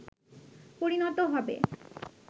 পরিণত হবে